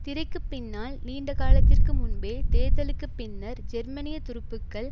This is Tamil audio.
திரைக்கு பின்னால் நீண்ட காலத்திற்கு முன்பே தேர்தலுக்கு பின்னர் ஜெர்மனிய துருப்புக்கள்